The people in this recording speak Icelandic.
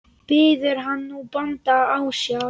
Biður hann nú bónda ásjár.